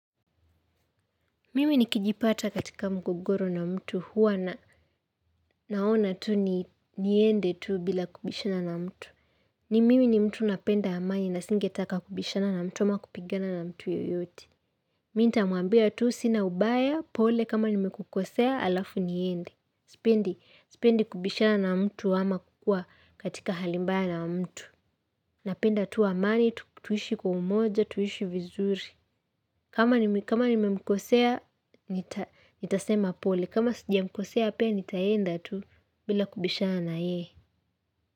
Mimi nikijipata katika mgogoro na mtu huwa na naona tu ni niende tu bila kubishana na mtu. Ni mimi ni mtu napenda amani na singetaka kubishana na mtu ama kupigana na mtu yeyote. Mi nitamwambia tu sina ubaya pole kama nimekukosea alafu niende. SSpendi, sipendi kubishana na mtu ama kukua katika hali mbaya na mtu. Napenda tu amani, tuishi kwa umoja, tuishi vizuri. Kama nime nimemkosea, nita nitasema pole. Kama sijamkosea, pia nitaenda tu bila kubishana na yeye.